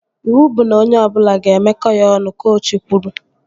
Iwu bụ na onye ọbụla ga-emeko ya ọnụ! Kochi kwuru